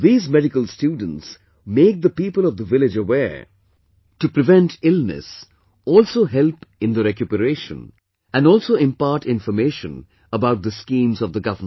These medical students make the people of the village aware to avoid illness, also help in the recuperation, and also impart information about the schemes of the government